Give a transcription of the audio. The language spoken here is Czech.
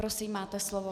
Prosím, máte slovo.